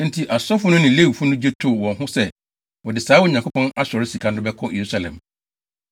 Enti asɔfo no ne Lewifo no gye too wɔn ho so sɛ wɔde saa Onyankopɔn asɔre sika no bɛkɔ Yerusalem.